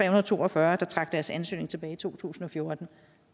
og to og fyrre der trak deres ansøgning tilbage i to tusind og fjorten